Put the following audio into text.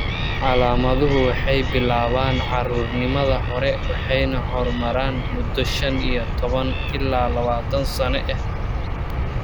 Calaamaduhu waxay bilaabaan caruurnimada hore waxayna horumaraan muddo shan iyo tobaan ilaa lawatan sano ah.